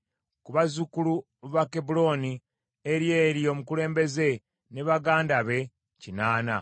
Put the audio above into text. ku bazzukulu ba Kebbulooni, Eryeri omukulembeze ne baganda be kinaana;